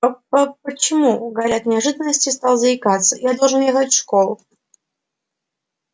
по-по-почему гарри от неожиданности стал заикаться я должен ехать школу